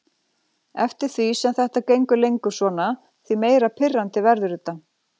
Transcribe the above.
Eftir því sem þetta gengur lengur svona því meira pirrandi verður þetta.